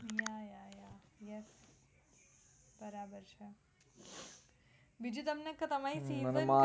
ya ya ya yes. બરાબર છે. બિજુ તમને કઉં તમારી